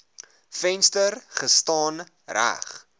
venster gestaan reg